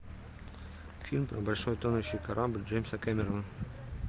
фильм про большой тонущий корабль джеймса кэмерона